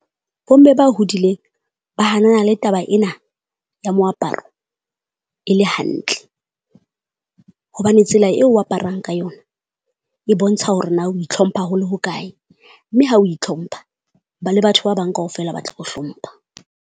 Bo mme ba hodileng ba hanana le taba ena ya moaparo e le hantle. Hobane tsela eo o aparang ka yona e bontsha hore na o itlhompha hole ho kae, mme ha o itlhompha ba le batho ba bang kaofela ba tla o hlompha.